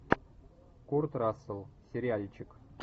курт рассел сериальчик